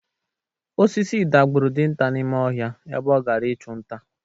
Osisi dagburu dinta n'ime ọhịa ebe ọ gara ịchụ nta.